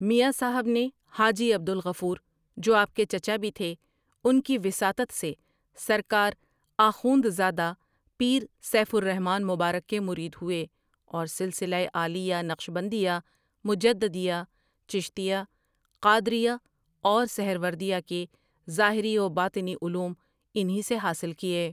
میاں صاحب نے حاجی عبد الغفور جو آپ کے چچا بھی تھے ان کی وساطت سے سر کار آخوندزادہ پیر سیف الر حمن مبارک کے مرید ہوئے اور سلسلہ عالیہ نقشبندیہ، مجددیہ، چشتیہ، قادریہ اور سہروردیہ کے ظاہری و باطنی علوم انہی سے حاصل کیے ۔